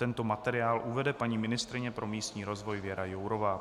Tento materiál uvede paní ministryně pro místní rozvoj Věra Jourová.